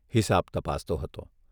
હિસાબ તપાસતો હતો.